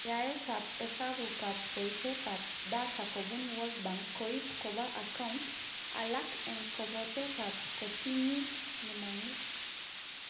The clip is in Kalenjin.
Yaetab hesabukab boishetab data kobun Word Bank koib koba account, alak eng kabotetab kotinyit nemangu